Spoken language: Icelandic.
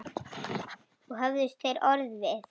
Engi höfðust þeir orð við.